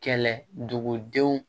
Kɛlɛ dugudenw